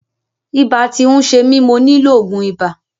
Ibà ti ń ṣe mi, mo nílò ògùn ibà.